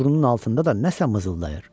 Burnunun altında da nəsə mızıldayır.